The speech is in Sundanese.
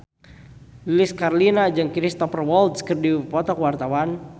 Lilis Karlina jeung Cristhoper Waltz keur dipoto ku wartawan